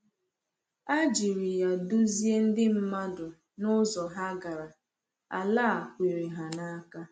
A jiri ya duzie ndị mmadụ n’ụzọ ha gara Ala a kwere ha n’aka.